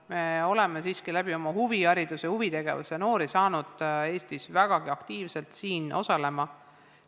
Me oleme siiski saanud Eesti noori väga aktiivselt osalema huvihariduses ja huvitegevuses.